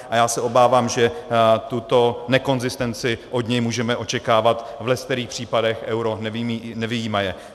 A já se obávám, že tuto nekonzistenci od něj můžeme očekávat v leckterých případech, euro nevyjímaje.